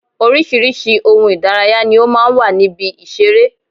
Oríṣiríṣi ohun Ìdárayá ni ó máa ń wà ní ibi ìṣeré